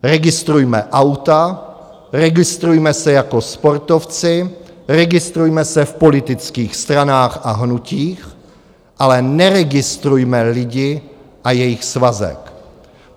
Registrujme auta, registrujme se jako sportovci, registrujme se v politických stranách a hnutích, ale neregistrujme lidi a jejich svazek.